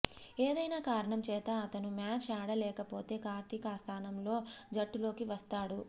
ఏదైనా కారణం చేత అతను మ్యాచ్ ఆడలేకపోతే కార్తీక్ ఆ స్థానంలో జట్టులోకి వస్తాడు